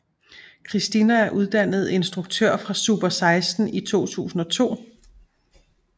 Christina er uddannet instruktør fra Super16 i 2002